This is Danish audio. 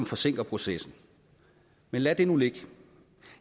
forsinker processen men lad det nu ligge